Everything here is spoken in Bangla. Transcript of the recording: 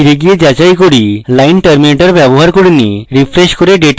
ফিরে যাই এবং যাচাই করি এখানে line terminator ব্যবহার করিনি refresh করে ডেটা আবার পাঠান